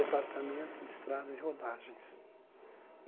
Departamento de Estrada e Rodagens.